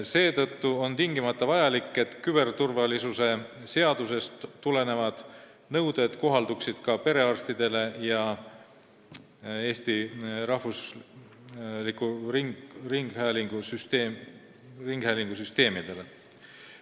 Seetõttu on tingimata vajalik, et küberturvalisuse seadusest tulenevad nõuded kohalduksid ka perearstidele ja Eesti Rahvusringhäälingu süsteemidele.